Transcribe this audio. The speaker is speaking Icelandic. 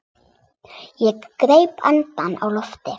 Ég greip andann á lofti.